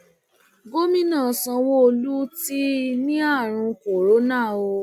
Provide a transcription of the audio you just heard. gomina sanwóolu ti ní àrùn corona o